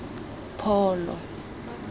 pholo